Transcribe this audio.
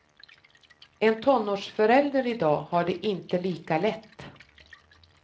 En tonårsförälder i dag har det inte lika lätt.